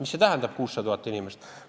Mis see tähendab, 600 000 inimest?